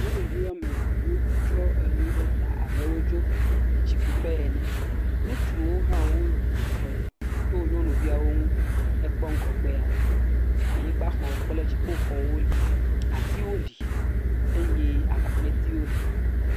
Nyɔnuvi woame eve wotsɔ nu ɖe ta abe wotso tsikuƒe ene. Ŋutsuwo hã wozɔ to nyɔnuviawo ŋu. Ne èkpɔ ŋgɔgbea, anyigbaxɔ kple dziƒoxɔwo li. Atiwo li eye agɔnetiwo li.